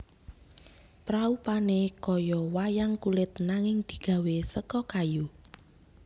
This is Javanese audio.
Praupane kaya wayang kulit nanging digawé seka kayu